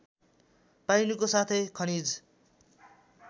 पाइनुको साथै खनिज